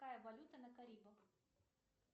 какая валюта на карибах